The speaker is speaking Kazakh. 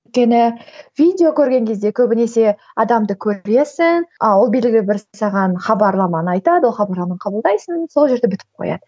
өйткені видео көрген кезде көбінесе адамды көресің а ол белгілі бір саған хабарламаны айтады ол хабарламаны қабылдайсың сол жерде бітіп қояды